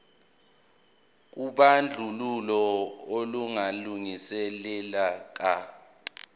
kobandlululo olungalungile ka